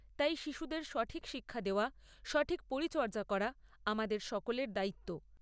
তাই শিশুদের সঠিক শিক্ষা দেওয়া, সঠিক পরিচর্যা করা আমাদের সকলের দায়িত্ব।